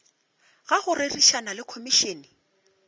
ga go rerišana le komišene